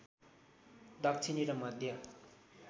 दक्षिणी र मध्य